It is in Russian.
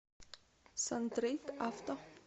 сантрейд авто